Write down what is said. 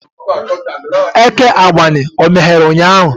Eke Agbani meghere ụnyahụ?